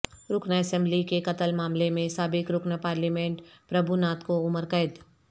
رکن اسمبلی کے قتل معاملے میں سابق رکن پارلیمنٹ پربھوناتھ کو عمرقید